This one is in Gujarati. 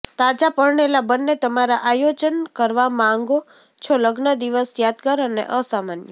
તાજા પરણેલા બન્ને તમારા આયોજન કરવા માંગો છો લગ્ન દિવસ યાદગાર અને અસામાન્ય